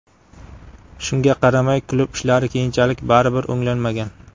Shunga qaramay, klub ishlari keyinchalik baribir o‘nglanmagan.